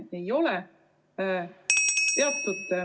Aga see ei ole nii.